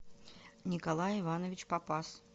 николай иванович попаз